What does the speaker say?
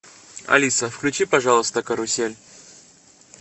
алиса включи пожалуйста карусель